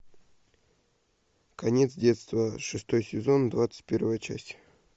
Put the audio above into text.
конец детства шестой сезон двадцать первая часть